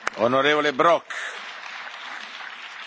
Herr Präsident, Herr Vizepräsident, Kolleginnen und Kollegen!